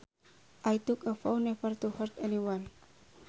I took a vow never to hurt anyone